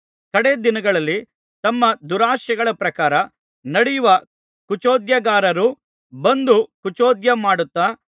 ಕಡೆ ದಿನಗಳಲ್ಲಿ ತಮ್ಮ ದುರಾಶೆಗಳ ಪ್ರಕಾರ ನಡೆಯುವ ಕುಚೋದ್ಯಗಾರರು ಬಂದು ಕುಚೋದ್ಯ ಮಾಡುತ್ತಾ